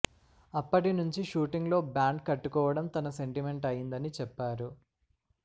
అప్పటి నుంచి షూటింగ్ లో బ్యాండ్ కట్టుకోవడం తన సెంటిమెంట్ అయిందని చెప్పారు